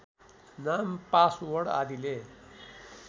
नाम पासवर्ड आदिले